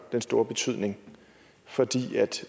den store betydning fordi